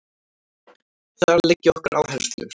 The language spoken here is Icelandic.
Þar liggja okkar áherslur